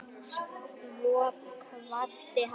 Svo kvaddi hann.